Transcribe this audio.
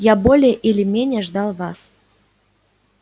я более или менее ждал вас